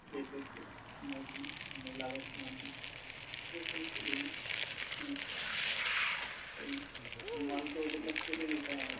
এই সমস্ত আর মাল তোদের কাছ থেকে নিতে হবে।